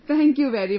Thank you very much